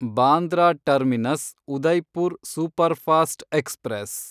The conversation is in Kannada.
Bandra Terminus Udaipur Superfast express